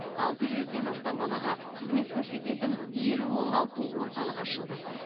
алты жүзден астам балаға қызмет көрсететін елу оңалту орталығы ашылды